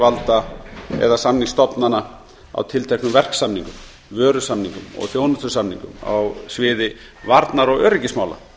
samningsyfirvalda eða samningsstofnana á tilteknum verksamningum vörusamningum og þjónustusamningum á sviði varnar og öryggismála